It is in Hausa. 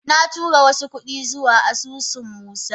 Na tura wasu kudi zuwa asusun musa